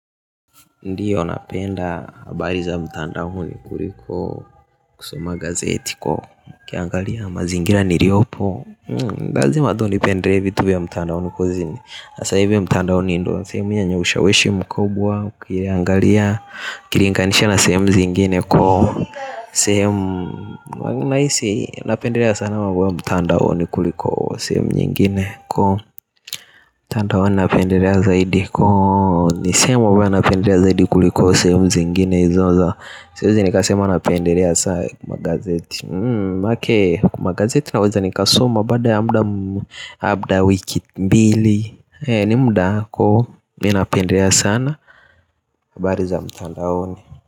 Ndiyo napenda habari za mtandaoni kuriko kusoma gazeti ko ukiangalia mazingira niriopo lazima tu nipendele vitu vya mtandaoni kuzini hasa hivi mtandaoni ndo sehemu yenye ushawishi mkubwa ukiriangalia. Ukilinganisha na sehemu zingine ko sehemu nahisi napendelea sana mtandaoni kuriko sehemu nyingine ko. Mtandaoni napendelea zaidi ko. Ni sehemu ambayo napendelea zaidi kuliko sehemu zingine hizo za siezi nikasema napendelea sana magazeti mm manake, magazeti naweza nikasoma baada ya muda mm labda wiki mbili. Ni muda ku, ninapendelea sana habari za mtandaoni.